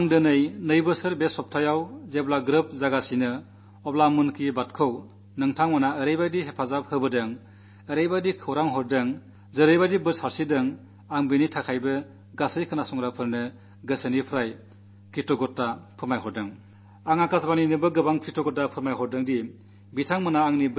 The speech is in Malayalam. ഇന്ന് രണ്ടു വർഷം പൂർത്തിയാകുന്ന ഈ വേളയിൽ മൻ കീ ബാത്തിനെ നിങ്ങൾ അഭിനന്ദി¨തിന് തയ്യാറാക്കാൻ സഹായിച്ചതിന് അനുഗ്രഹം ചൊരിഞ്ഞതിന് എല്ലാ ശ്രോതാക്കൾക്കുമുള്ള കൃതജ്ഞത ഹൃദയപൂർവ്വം വ്യക്തമാക്കുന്നു